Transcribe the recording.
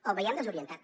el veiem desorientat